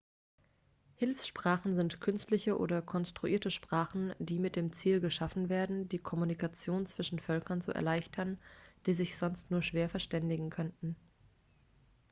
hilfssprachen sind künstliche oder konstruierte sprachen die mit dem ziel geschaffen werden die kommunikation zwischen völkern zu erleichtern die sich sonst nur schwer verständigen könnten